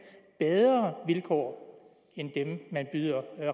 bedre vilkår end dem man byder